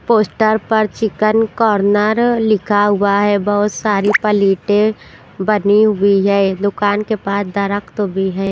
Poster पर chicken corner लिखा हुआ है बहुत सारी पलीटें बनी हुई है ए दुकान के पास दरख्त तो भी है।